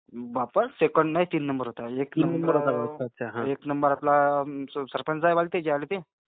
आता सेकंद नाही तीन नंबर ला आहे. एक नंबर ला सरपंच झालेला त्यावेळी ते.